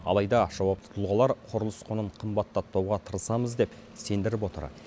алайда жауапты тұлғалар құрылыс құнын қымбаттатпауға тырысамыз деп сендіріп отыр